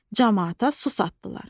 Camaata su satdılar.